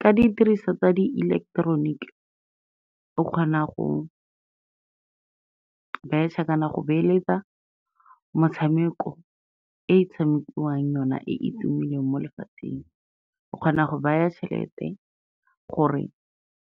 Ka didiriswa tsa di ileketeroniki, o kgona go betšha kana go beeletsa metshameko e tshamekiwang yona e e tumileng mo lefatsheng, o kgona go baya tšhelete gore